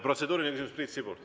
Protseduuriline küsimus, Priit Sibul.